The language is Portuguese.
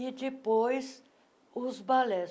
E depois, os balés.